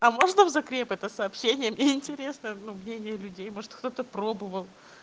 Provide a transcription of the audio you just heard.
а можно в закреп это сообщение мне интересно ну мнение людей может кто-то пробовал